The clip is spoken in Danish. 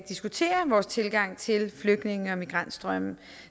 diskuterer vores tilgang til flygtninge og migrantstrømme